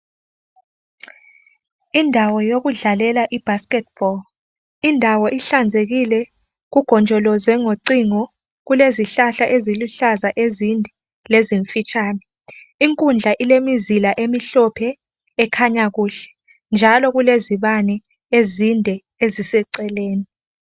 Indawo yodlalela ibasket ball indawo ihlanzekile kugojolozwe ngocingo kukezihlahla eziluhlaza ezinde lezimfitshane inkundla ilemizila emhlophe njalo kulezibane ezinde eziseceleni